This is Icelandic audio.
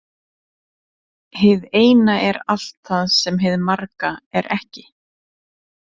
Hið eina er allt það sem hið marga er ekki.